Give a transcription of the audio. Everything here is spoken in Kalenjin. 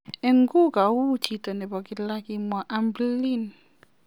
Inguu kou chito nebo kilaa, kimwaa Hamblin.